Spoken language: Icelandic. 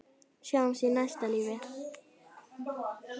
Sjáumst í næsta lífi.